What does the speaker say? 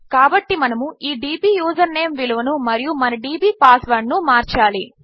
కాబట్టిమనముఈ D B username విలువనుమరియుమన D B password నుమార్చాలి